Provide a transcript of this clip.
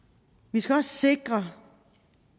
vi skal også sikre